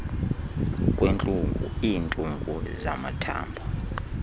kwentlungu iintungu zamathambo